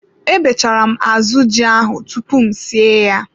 Ebechara m azụ ji ahụ tupu m sie ya.